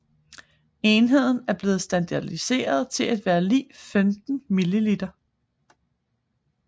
Enheden er blevet standardiseret til at være lig 15 mL